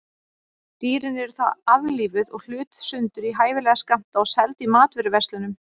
Dýrin eru þá aflífuð og hlutuð sundur í hæfilega skammta og seld í matvöruverslunum.